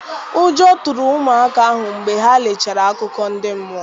Ụjọ tụrụ ụmụaka ahụ mgbe ha lechara akụkọ ndị mmụọ.